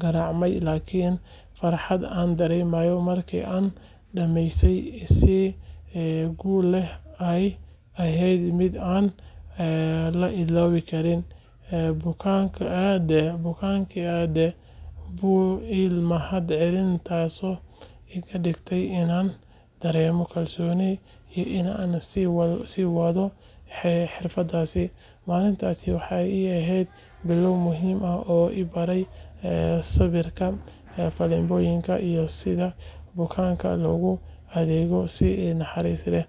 garaacayay laakiin farxadda aan dareemay markii aan dhammeeyay si guul leh ayaa ahayd mid aan la ilaawi karin. Bukaankii aad buu ii mahad celiyay taasoo iga dhigtay inaan dareemo kalsooni iyo in aan sii wado xirfaddan. Maalintaas waxay ii ahayd bilow muhiim ah oo i baray sabirka, feejignaanta iyo sida bukaanka loogu adeego si naxariis leh.